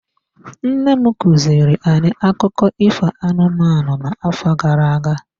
Nne m kuziri anyị akụkọ ifo anụmanụ n'afọ gara aga.